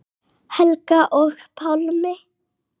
Helga og Pálmi.